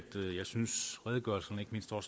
redegørelserne ikke mindst når